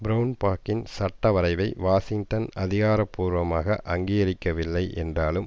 பிரவுன்பாக்கின் சட்டவரைவை வாஷிங்டன் அதிகாரபூர்வமாக அங்கீகரிக்கவில்லை என்றாலும்